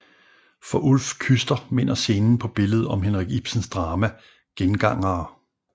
For Ulf Küster minder scenen på billedet om Henrik Ibsens drama Gengangere